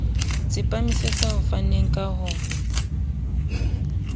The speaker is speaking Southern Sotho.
tsepamisetsa ho faneng ka ho